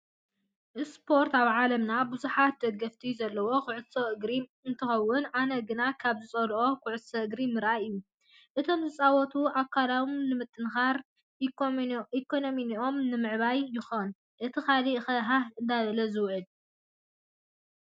ስፖርት፦ ኣብ ዓለምና ብዝሓት ደገፍቲ ዘለውዎ ኩዕሶ እግሪ እንትከውን ኣነ ግና ካብ ዝፀልኦ ኩዕሶ እግሪ ምርኣይ እዩ። እቶምዝፃወቱስ ኣካሎም ንምጥንካርን ኢኮነሚኦም ንምዕባይን ይከውን እቲ ካሊእ ከ ሃሃ እንዳበለ ዝውዕል።